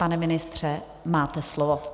Pane ministře, máte slovo.